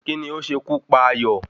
Kí ni ó ṣe kú pa Ayọ̀?